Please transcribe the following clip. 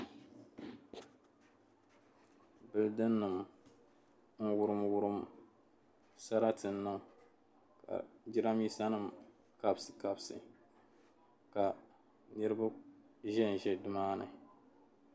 Building nim n wurim wurim sarati niŋ ka jiramiinsanim kabisi kabisi ka niriba ʒe nimaani.